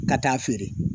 Ka taa feere